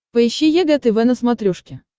поищи егэ тв на смотрешке